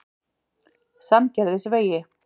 Sandgerðisvegi